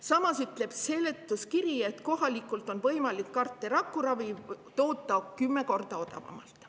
Samas ütleb seletuskiri, et kohalikult on võimalik CAR-T raku toota 10 korda odavamalt.